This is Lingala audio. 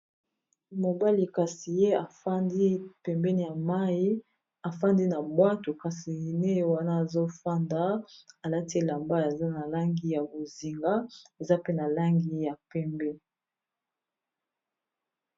Mobali kasi ye afandi pembeni ya mayi afandi na bwato kasi ye wana azofanda alati elamba eza na langi ya bozinga eza pe na langi ya pembe.